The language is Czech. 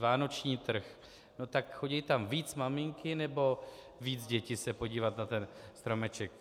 Vánoční trh - no tak chodí tam víc maminky, nebo víc děti se podívat na ten stromeček?